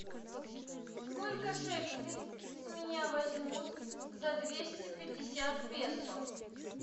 сколько шекелей с меня возьмут за двести пятьдесят песо